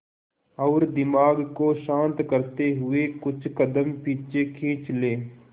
और दिमाग को शांत करते हुए कुछ कदम पीछे खींच लें